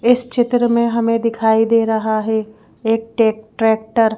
इस चित्र में हमें दिखाई दे रहा है एक टेक ट्रैक्टर --